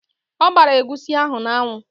Ọ gbara egusi ahụ n'anwụ.